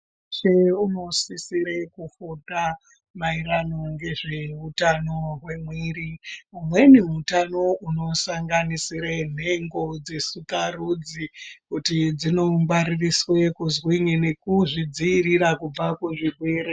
...weshe unosisire kufunda maererano ngezveutano hwemwiiri. Umweni hutano hunosanganisire nhengo dzesikarudzi kuti dzinongwaririswe kuzwinyi nekuzvidziirira kubva kuzvirwere.